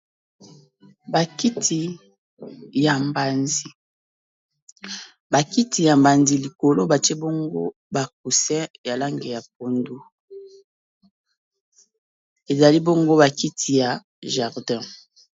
Ba kiti ya mbanzi, ba kiti ya mbanzi likolo batie bongo ba coussin ya langi ya pondu ezali bongo ba kiti ya jardin.